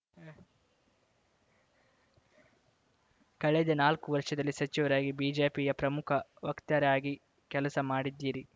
ಕಳೆದ ನಾಲ್ಕು ವರ್ಷದಲ್ಲಿ ಸಚಿವರಾಗಿ ಬಿಜೆಪಿಯ ಪ್ರಮುಖ ವಕ್ತಾರೆಯಾಗಿ ಕೆಲಸ ಮಾಡಿದ್ದೀರಿ